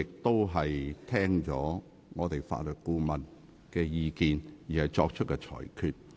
我是聽取了法律顧問的意見後，才作出裁決。